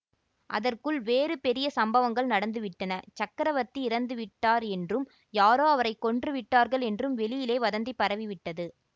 அதற்குள் வேறு பெரிய சம்பவங்கள் நடந்து விட்டன சக்கரவர்த்தி இறந்து விட்டார் என்றும் யாரோ அவரை கொன்று விட்டார்கள் என்றும் வெளியிலே வதந்தி பரவிவிட்டது